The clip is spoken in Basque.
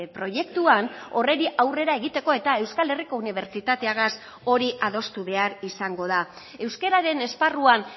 proiektuan horri aurrera egiteko eta euskal herriko unibertsitateagaz hori adostu behar izango da euskararen esparruan